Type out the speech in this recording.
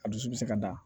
A dusu bi se ka da